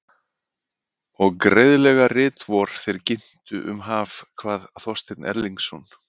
Og greiðlega rit vor þeir ginntu um haf, kvað Þorsteinn Erlingsson.